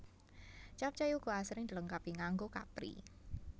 Capcay uga asring dilengkapi nganggo kapri